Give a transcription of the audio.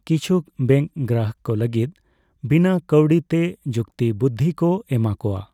ᱠᱤᱪᱷᱩ ᱵᱮᱝᱠ ᱜᱨᱟᱦᱚᱠ ᱠᱚ ᱞᱟᱹᱜᱤᱫ ᱵᱤᱱᱟᱹ ᱠᱟᱹᱣᱰᱤᱛᱮ ᱡᱩᱠᱛᱤ ᱵᱩᱨᱫᱷᱤ ᱠᱚ ᱮᱢᱟᱠᱚᱣᱟ ᱾